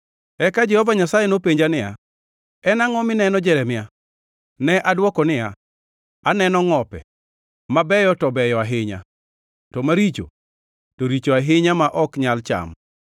Eka Jehova Nyasaye nopenja niya, “En angʼo mineno, Jeremia?” Ne odwoko niya, “Aneno ngʼope. Mabeyo to beyo ahinya, to maricho to richo ahinya ma ok nyal cham.”